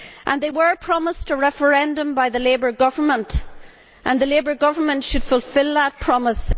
They were promised a referendum by the Labour Government, and the Labour Government should fulfil that promise.